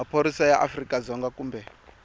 maphorisa ya afrika dzonga kumbe